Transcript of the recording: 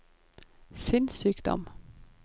sinnssykdom